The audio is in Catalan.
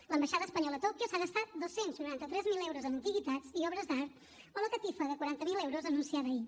l’ambaixada espanyola a tòquio s’ha gastat dos cents i noranta tres mil euros en antiguitats i obres d’art o la catifa de quaranta miler euros anunciada ahir